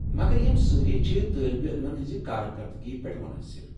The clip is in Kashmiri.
مگر یم سٲری چھِ طٲلب علمن ہنٛزِ کارکردگی پیٹھ منحصر۔